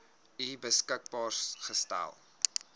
u beskikbaar gestel